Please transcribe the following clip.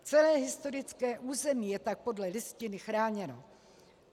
Celé historické území je tak podle Listiny chráněno.